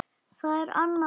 Það er annað mál.